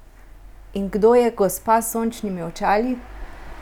In kdo je gospa s sončnimi očali?